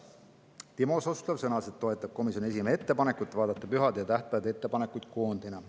Timo Suslov sõnas, et toetab komisjoni esimehe ettepanekut vaadata pühade ja tähtpäevade ettepanekuid koondina.